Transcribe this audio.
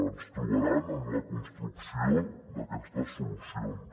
ens trobaran en la construcció d’aquestes solucions